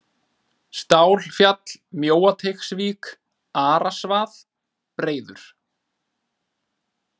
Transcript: Stálfjall, Mjóateigsvík, Arasvað, Breiður